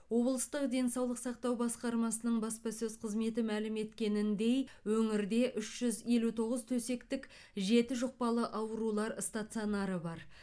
облыстық денсаулық сақтау басқармасының баспасөз қызметі мәлім еткеніндей өңірде үш жүз елу тоғыз төсектік жеті жұқпалы аурулар стационары бар